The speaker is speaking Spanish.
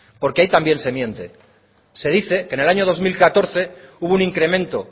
porque ahí también se miente se dice que en el año dos mil catorce hubo un incremento